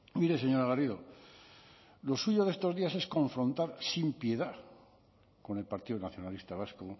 mire señora garrido lo suyo de estos días es confrontar sin piedad con el partido nacionalista vasco